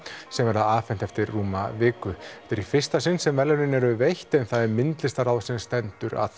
sem verða afhent eftir rúma viku þetta er í fyrsta sinn sem verðlaunin eru veitt en það er myndlistarráð sem stendur að